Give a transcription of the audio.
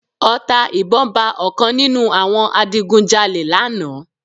Ọta ìbọn ba ọ̀kan nínú àwọn adigun jalè lánàá